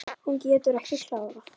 Hún getur ekki klárað.